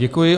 Děkuji.